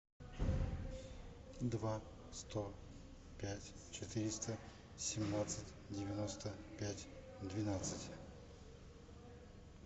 два сто пять четыреста семнадцать девяносто пять двенадцать